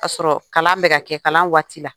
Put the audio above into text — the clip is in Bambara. K'a sɔrɔ kalan bɛ ka kɛ kalan wagati la